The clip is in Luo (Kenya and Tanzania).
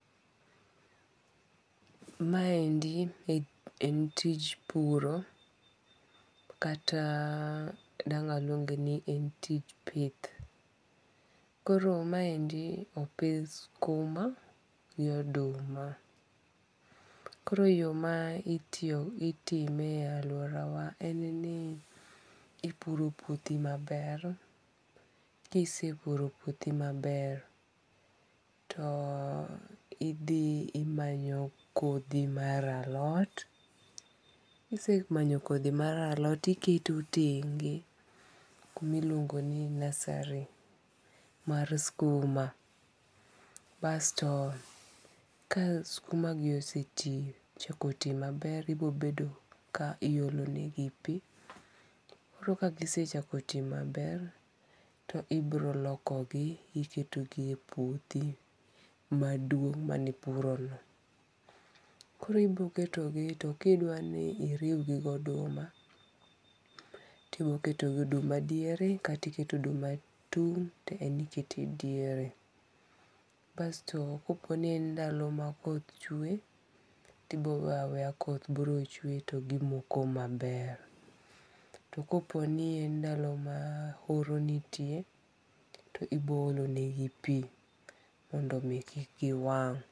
Maendi en tij puro kata dang' aluonge ni en tich pith, koro maendi opith skuma gi oduma, koro yo ma itime e aluorawa en ni ipuro puothimaber ka isepuro puthi maber, to ithi imanyo kothi mara lot, kise manyo kothi mar alot to iketo tenge' kuma iluongoni nursery mar skuma, basto ka skumagi oseti ochako ti maber ibirobedo ka iyolonegi pi, koro ka gisechako ti maber, to ibirolokogi iketonegi e puothi maduong' manipurono, koro ibiroketogi to ka idwani iriwgi gi oduma to ibiroketo oduma diere kata iketo oduma tung' to en ikete diere, basto ka poni en ndalo ma koth chwe to ibiro weyo aweya koth biro chwe to gimoko maber, to koponi en ndalo ma oro nitie to ibiro olonegi pi mondo kik giwang'.